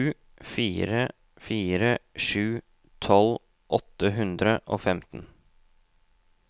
sju fire fire sju tolv åtte hundre og femten